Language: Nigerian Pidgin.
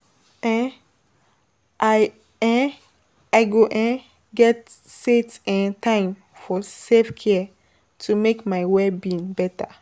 um I um I go I um get set um time for self-care to make my well-being better.